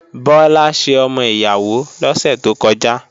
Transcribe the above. Bọ́lá ṣe ọmọ ìyàwó lọ́sẹ̀ tó kọjá